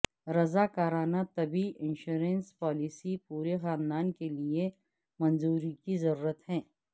رضاکارانہ طبی insurance policy پورے خاندان کے لئے منظوری کی ضرورت ہے